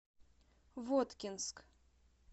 воткинск